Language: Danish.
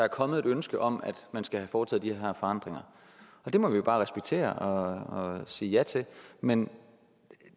er kommet et ønske om at man skal have foretaget de her forandringer og det må vi jo bare respektere og sige ja til men